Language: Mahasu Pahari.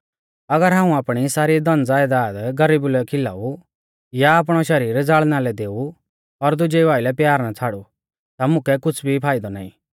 अगर हाऊं आपणी सारी धनज़यदाद गरीबु लै खिलाऊ या आपणौ शरीर ज़ाल़ना लै देऊ और दुजेऊ आइलै प्यार ना छ़ाड़ू ता मुकै कुछ़ भी फाइदौ नाईं